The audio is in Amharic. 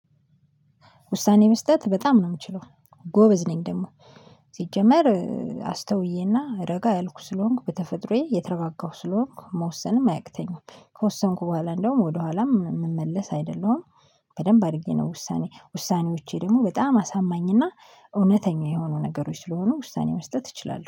ውሳኔ መስጠት በጣም ነው የምችለው ጎበዝ ነኝ ደግሞ። ሲጀመር አስተውዬና ረጋ ያልኩ ስለሆንኩ በተፈጥሮዬ የተረጋጋሁ ስለሆንኩ መወሰንም አያቅተኝም ከወሰንኩ በኋላ እንደውም ወደኋላም ምመለስ አይደለሁም። በደንብ አድርጌ ነው ውሳኔ ውሳኔዎቼ ደግሞ በጣም አሳማኝና እውነተኛ የሆኑ ነገሮች ስለሆኑ ውሳኔ መስጠት እችላሉሁ